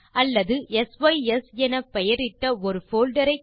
அல்லது சிஸ் என பெயரிட்ட ஒரு போல்டர் ஐ